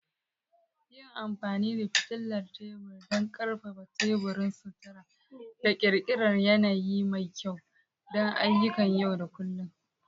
Yi amfani da fitilar tebur don ƙarfafa teburin sutura da ƙirƙirar yanayi mai kyau don ayyukan yau da kullun.